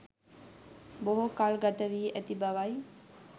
බොහෝ කල් ගත වි ඇති බවයි.